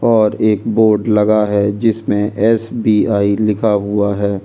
और एक बोर्ड लगा हुआ है जिसमे ऐस_बी_आई लिखा हुआ है।